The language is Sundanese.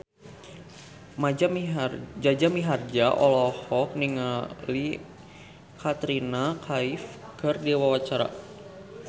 Jaja Mihardja olohok ningali Katrina Kaif keur diwawancara